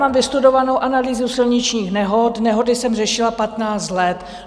Mám vystudovanou analýzu silničních nehod, nehody jsem řešila patnáct let.